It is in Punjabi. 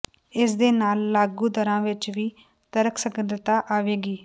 ਇਸ ਦੇ ਨਾਲ ਲਾਗੂ ਦਰਾਂ ਵਿੱਚ ਵੀ ਤਰਕਸੰਗਤਤਾ ਆਵੇਗੀ